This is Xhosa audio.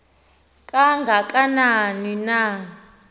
kanga kanani na